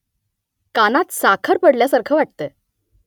कानात साखर पडल्यासारखं वाटतंय